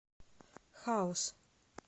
хаус